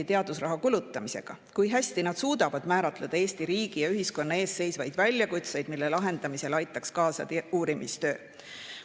20% teadusraha kulutamisega, kui hästi nad suudavad määratleda Eesti riigi ja ühiskonna ees seisvaid väljakutseid, mille lahendamisele aitaks kaasa uurimistöö.